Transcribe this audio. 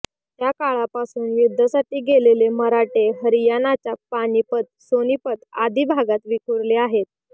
त्याकाळापासून युद्धासाठी गेलेले मराठे हरयाणाच्या पानिपत सोनिपत आदी भागांत विखुरले आहेत